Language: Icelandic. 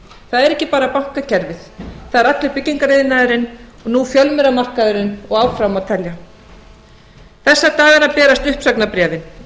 það er ekki bara bankakerfið það er allur byggingariðnaðarinn og nú fjölmiðlamarkaðurinn og áfram má telja þessa dagana berast uppsagnarbréfin